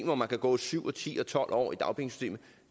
hvor man kan gå syv og ti og tolv år i dagpengesystemet